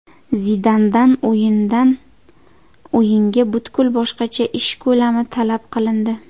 Zidandan o‘yindan o‘yinga butkul boshqacha ish ko‘lami talab qilindi.